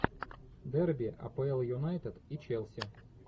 дерби апл юнайтед и челси